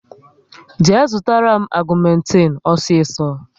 Jee zụtara m agumetin osiso